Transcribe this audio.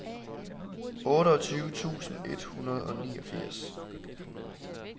otteogtyve tusind et hundrede og niogfirs